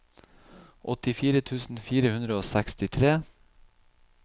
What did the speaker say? åttifire tusen fire hundre og sekstitre